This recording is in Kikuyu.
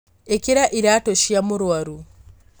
ĩkĩra iratũ cia mũrwaru